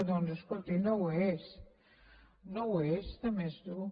doncs escolti no ho és no ho és de més dur